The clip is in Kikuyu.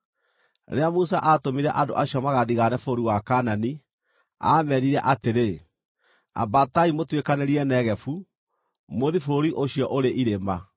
Rĩrĩa Musa aatũmire andũ acio magathigaane bũrũri wa Kaanani, aameerire atĩrĩ, “Ambatai mũtuĩkanĩrie Negevu, mũthiĩ bũrũri ũcio ũrĩ irĩma.